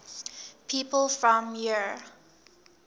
people from eure